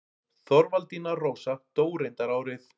Þorvaldína Rósa dó reyndar árið